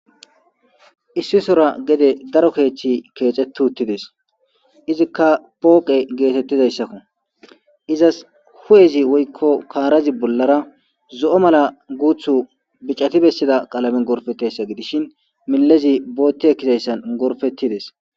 Issi sora gede daro keeththi keecetuuttides izikka pooqe geetettizayssakko izas hu'ezi woykko kaarazi bollara zo7o mala guuthu bicati bessida qalame gorfettayssa gidishin milezi bootti ekkizayssan gorfettides.